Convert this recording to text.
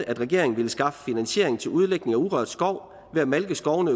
at regeringen vil skaffe finansiering til udlægning af urørt skov ved at malke skovene